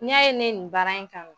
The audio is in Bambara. N'i y'a ye ne nin baara in kanu.